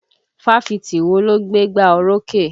Fáfitì wo ló gbé gbá orókè?